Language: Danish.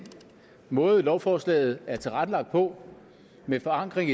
måde lovforslaget er tilrettelagt på med forankring